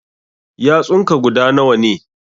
Yatsun ka guda nawa ne?